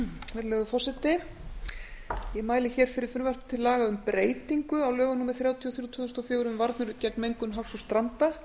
virðulegur forseti ég mæli fyrir frumvarpi til laga um breytingu á lögum númer þrjátíu og þrjú tvö þúsund og fjögur um varnir gegn mengun hafs og stranda